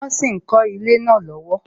Wọn sì ń kọ ilé náà lọ́wọ́